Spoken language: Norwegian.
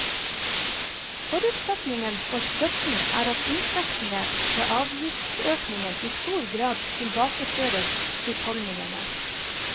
Forutsetningen for støtten er at inntektene fra avgiftsøkningen i stor grad tilbakeføres husholdningene.